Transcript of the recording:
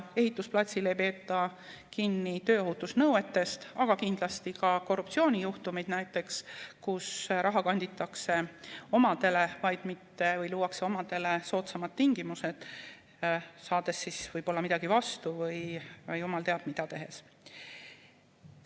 Näiteks, ehitusplatsil ei peeta kinni tööohutusnõuetest, aga kindlasti ka korruptsioonijuhtumid, kui raha kanditakse omadele või luuakse omadele soodsamad tingimused, saades siis võib-olla midagi vastu, või jumal teab mida tehes.